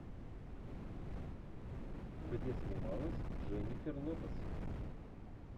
где снималась дженнифер лопес